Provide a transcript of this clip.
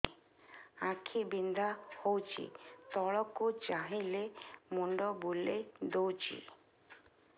ଆଖି ବିନ୍ଧା ହଉଚି ତଳକୁ ଚାହିଁଲେ ମୁଣ୍ଡ ବୁଲେଇ ଦଉଛି